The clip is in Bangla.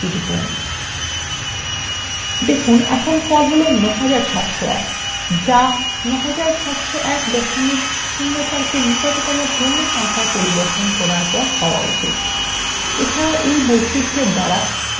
দেখুন আপনার ফল বর্তমানে ৯৭০১ যা ৯৭০১ ০৪ –কে নিকটতম পূর্ণ সংখ্যায পরিবর্তন করলে হওয়া উচিত